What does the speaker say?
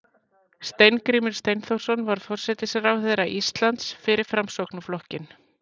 steingrímur steinþórsson var forsætisráðherra íslands fyrir framsóknarflokkinn